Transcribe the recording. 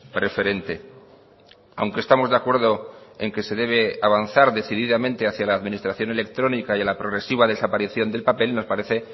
preferente aunque estamos de acuerdo en que se debe avanzar decididamente hacia la administración electrónica y a la progresiva desaparición del papel nos parece